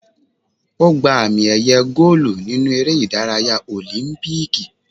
Ó gba àmì- ẹ̀yẹ góólù nínú eré ìdárayá Òlímpíìkì.